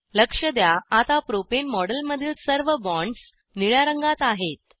लक्ष द्या आता प्रोपेन मॉडेलमधील सर्व बॉन्ड्स निळ्या रंगात आहेत